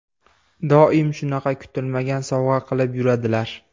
Doim shunaqa kutilmagan sovg‘a qilib yuradilar.